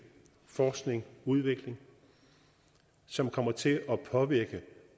forskning udvikling som kommer til at påvirke